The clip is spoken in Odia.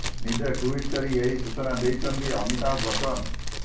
ନିଜେ ଟ୍ୱିଟ୍ କରି ଏହି ସୂଚନା ଦେଇଛନ୍ତି ଅମିତାଭ ବଚ୍ଚନ